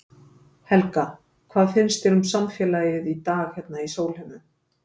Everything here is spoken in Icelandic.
Helga: Hvað finnst þér um samfélagið í dag hérna á Sólheimum?